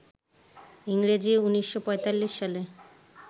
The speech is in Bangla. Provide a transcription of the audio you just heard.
ইংরেজি ১৯৪৫ সালে